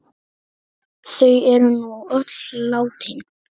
Þau eru nú öll látin.